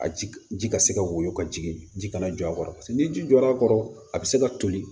A ji ka se ka woyo ka jigin ji kana jɔ a kɔrɔ paseke ni ji jɔra a kɔrɔ a bɛ se ka toli